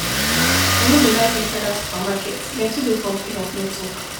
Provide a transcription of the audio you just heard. I no dey like enter that supermarket, dem too dey complain of network